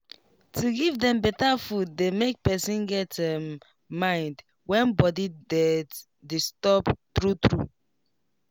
to give dem better food dey make person get um mind when body thet disturb true true